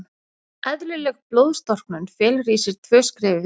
Eðlileg blóðstorknun felur í sér tvö skref í viðbót.